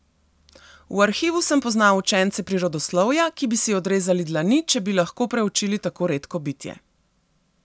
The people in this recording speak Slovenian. V Arhivu sem poznal učence prirodoslovja, ki bi si odrezali dlani, če bi lahko preučili tako redko bitje.